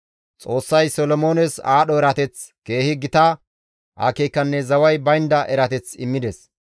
Xoossay Solomoones aadho erateth, keehi gita akeekanne zaway baynda erateth immides.